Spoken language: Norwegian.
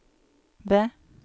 V